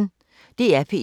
DR P1